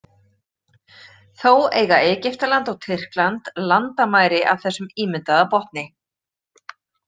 Þó eiga Egyptaland og Tyrkland landamæri að þessum ímyndaða botni.